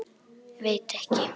Veit ekki.